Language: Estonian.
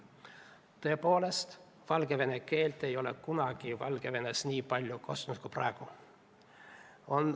Tõepoolest, valgevene keelt ei ole kunagi Valgevenes nii palju kostnud kui praegu.